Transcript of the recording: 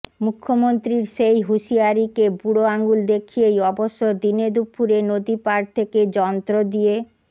মুখ্যমন্ত্রীর সেই হুঁশিয়ারিকে বুড়ো আঙুল দেখিয়েই অবশ্য দিনেদুপুরে নদী পাড় থেকে যন্ত্র দিয়ে